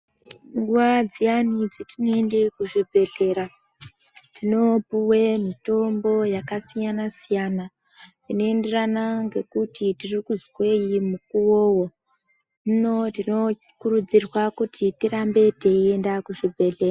Nguva dziani dzetinoende kuzvipehlera tinoopuwe mitombo yakasiyana siyana inoenderana ngekuti tirikuzwei mukuwowo hino tinokurudzirwa kuti tirambe tei enda kuzvipehle